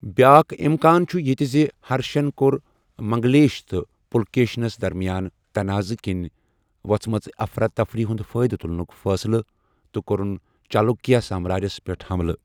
بیاکھ اِمکان چھُ یِتہِ زِ ہرشن کوٚرمنگلیش تہٕ پُلکیشنس درمِیان تناضہٕ کِنہِ ووژھٕ مٕژِ افراتفری ہُند فٲیدٕ تُلنُک فٲصلہٕ، تہٕ کوٚرُن چالوُکیا سامراجس پیٹھ حملہٕ ۔